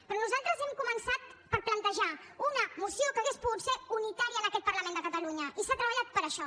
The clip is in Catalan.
però nosaltres hem començat per plantejar una moció que hauria pogut ser unitària en aquest parlament de catalunya i s’ha treballat per això